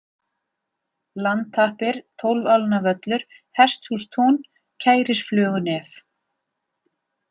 Landtappir, Tólfálnavöllur, Hesthússtún, Kærisflögunef